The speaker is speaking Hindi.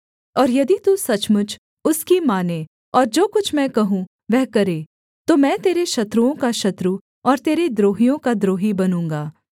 और यदि तू सचमुच उसकी माने और जो कुछ मैं कहूँ वह करे तो मैं तेरे शत्रुओं का शत्रु और तेरे द्रोहियों का द्रोही बनूँगा